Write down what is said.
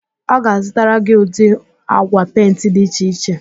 Ọ ga-azụtara gị ụdị agwa pentị dị iche iche